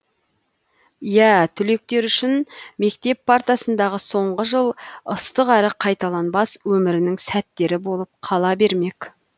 иә түлектер үшін мектеп партасындағы соңғы жыл ыстық әрі қайталанбас өмірінің сәттері болып қала бермек